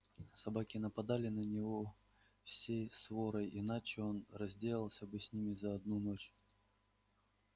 собаки нападали на него всей сворой иначе он разделался бы с ними за одну ночь